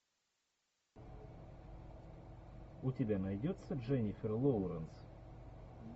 у тебя найдется дженифер лоуренс